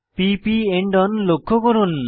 p প end on লক্ষ্য করুন